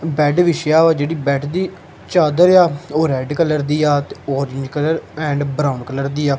Bed ਵਿਛਿਆ ਵਾ ਜਿਹੜੀ ਬੇਡ ਦੀ ਚਾਦਰ ਏ ਆ ਉਹ ਰੈਡ ਕਲਰ ਦੀ ਆ ਤੇ ਉਹਦੀ ਕਲਰ ਐਂਡ ਬਰਾਊਨ ਕਲਰ ਦੀ ਆ।